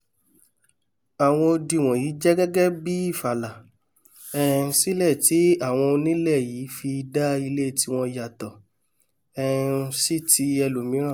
àwọn odi wọ̀nyí jẹ́ gẹ́gẹ́ bíi ìfàlà um sílẹ̀ tí àwọn onílẹ̀ yìí fi dá ilẹ̀ tiwọn yàtọ̀ um sí ti ẹlòmíràn